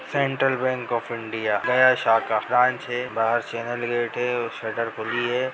Central Bank of India Gaya शाखा branch है बाहर चेनल गेट है और शटर खुली है।